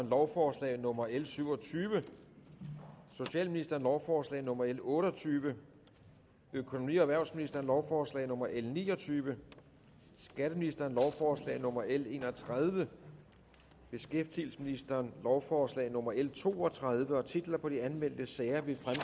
lovforslag nummer l syv og tyve socialministeren lovforslag nummer l otte og tyve økonomi og erhvervsministeren lovforslag nummer l ni og tyve skatteministeren lovforslag nummer l en og tredive beskæftigelsesministeren lovforslag nummer l to og tredive titler på de anmeldte sager vil